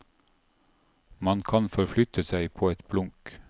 Man kan forflytte seg på et blunk.